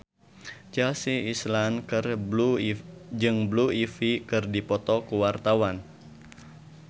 Chelsea Islan jeung Blue Ivy keur dipoto ku wartawan